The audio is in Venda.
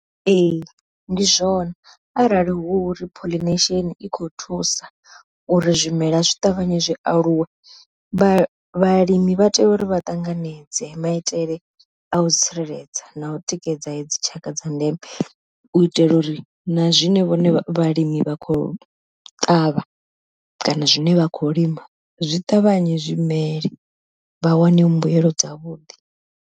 Ee ndi zwone arali hu ri pollination i kho thusa uri zwimela zwi ṱavhanye zwi aluwe, vha vhalimi vha tea uri vha ṱanganedze maitele a u tsireledza na u tikedza hedzi tshaka dza ndeme, u itela uri na zwine vhone vhalimi vha khou ṱavha kana zwine vha khou lima zwi ṱavhanye zwimele vha wane mbuyelo dza vhuḓi.